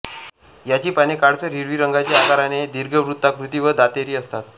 याची पाने काळसर हिरवी रंगाची आकाराने दीर्घवृत्ताकृती व दातेरी असतात